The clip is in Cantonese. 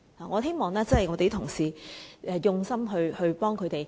我希望同事們用心幫助他們。